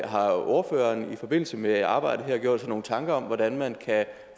har ordføreren i forbindelse med arbejdet her gjort sig nogle tanker om hvordan man kan